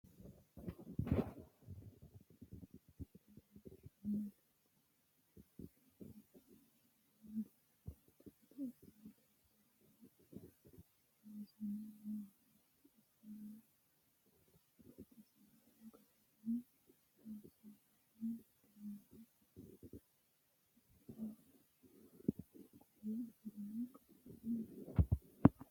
tini msile biinfiille leelishshannote kuni biinfillino mine dancha gede assine loonseenna loosame noohanna isilo baxisanno garinni loonsoonniho duumo kuula afidhino qalame buurrooniho